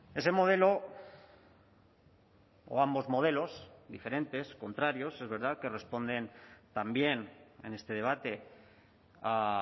ese modelo o ambos modelos diferentes contrarios es verdad que responden también en este debate a